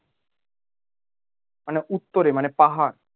মানে উত্তরে মানে পাহাড়